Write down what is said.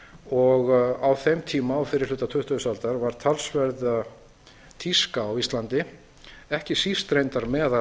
og á þeim tíma á fyrri hluta tuttugustu aldar var talsvert tíska á íslandi ekki síst reyndar meðal